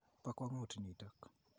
Po kwang'ut nitok !